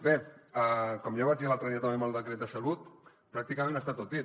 bé com ja vaig dir l’altre dia també amb el decret de salut pràcticament està tot dit